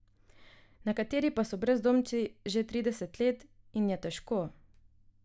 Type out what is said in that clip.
Nekateri pa so brezdomci že trideset let in je težko.